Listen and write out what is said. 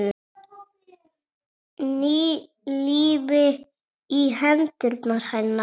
Ný lífi í hendur hennar.